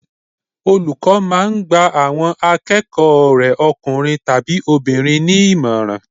Olùkọ́ máà ń gba àwọn akẹ́kọ̀ọ́ rẹ̀ ọkùnrin tàbi obìnrin ní ìmọ̀ràn